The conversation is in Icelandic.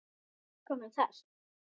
Hver var útkoman þar?